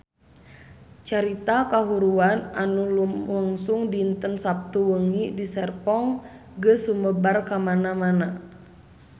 Carita kahuruan anu lumangsung dinten Saptu wengi di Serpong geus sumebar kamana-mana